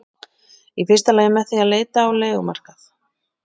Í fyrsta lagi með því að leita á leigumarkað.